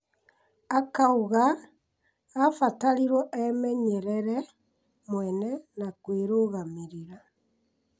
Akauga abatarirwo emenyerere mwene na kwĩrũgamĩrĩra.